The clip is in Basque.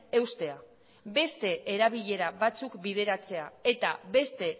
eustea beste erabilera batzuk bideratzea eta beste